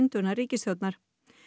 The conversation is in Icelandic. þá reis mikil